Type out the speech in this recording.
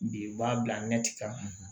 Bi u b'a bila mɛtiran